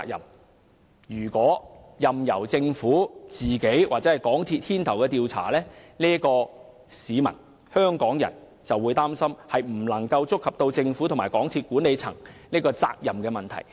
香港市民擔心，如果任由政府或港鐵公司牽頭調查，將無法觸及政府和港鐵公司管理層的責任問題。